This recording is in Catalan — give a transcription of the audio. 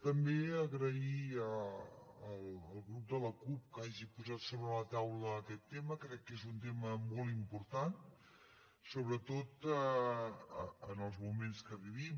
també agrair al grup de la cup que hagi posat sobre la taula aquest tema crec que és un tema molt important sobretot en els moments que vivim